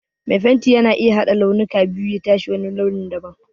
Mai fenti yana iya haɗa launuka biyu ya tashi wani launin da ban.